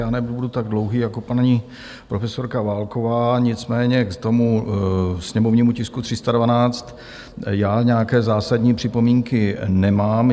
Já nebudu tak dlouhý jako paní profesorka Válková, nicméně k tomu sněmovnímu tisku 312 já nějaké zásadní připomínky nemám.